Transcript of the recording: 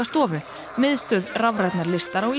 stofu miðstöð rafrænnar listar á